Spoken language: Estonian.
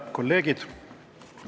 Head kolleegid!